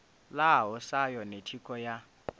ḽaho sa yone thikho ya